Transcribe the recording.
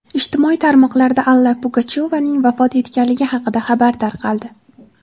Ijtimoiy tarmoqlarda Alla Pugachyovaning vafot etganligi haqida xabar tarqaldi.